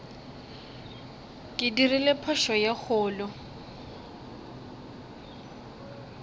ke dirile phošo ye kgolo